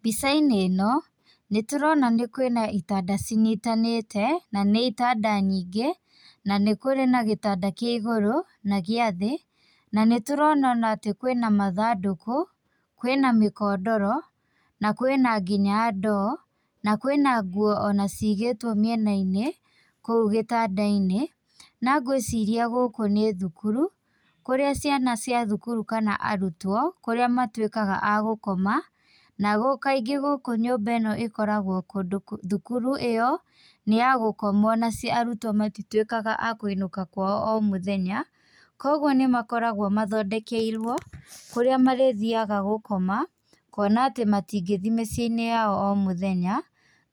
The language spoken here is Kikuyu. Mbica-inĩ ĩno, nĩ tũrona kwĩna itanda cinyitanĩte, na nĩ itanda nyingĩ, na kũrĩ na gĩtanda kĩigũrũ, na gĩa thĩ na nĩ tũrona ona atĩ kwĩna mathandũkũ, kwĩna mĩkondoro na kwĩna ngĩna ndoo, na kwĩna nguo ona cĩĩgĩtwo mĩena-inĩ kũu gĩtanda-inĩ, na ngwĩciria gũkũ nĩ thũkuru, kũrĩa ciana cia thukuru kana arutwo kũrĩa matuĩkaga a gũkoma, na kaingĩ nyũmba gũkũ, thukuru ĩyo, nĩ ya gũkomwo na arutwo matĩtuĩkaga a kũinũka kwao o mũthenya, kwoguo nĩ makoragũo mathondekeirwo, kũrĩa marĩthiaga gũkoma, kuona atĩ matĩrĩthiaga mĩciĩ-inĩ yao o mũthenya.